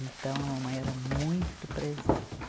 Então, a mamãe era muito presente.